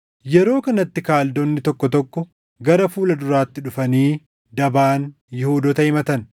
Yeroo kanatti Kaldoonni tokko tokko gara fuula duraatti dhufanii dabaan Yihuudoota himatan.